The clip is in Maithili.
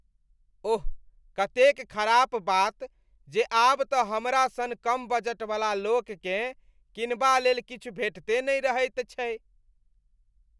ओह, कतेक खराप बात जे आब तँ हमरा सन कम बजटवला लोककेँ किनबालेल किछु भेटिते नहि रहैत छै।